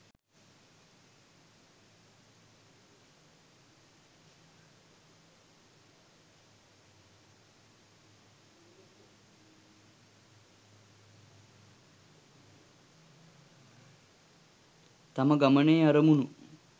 තම ගමනේ අරමුණු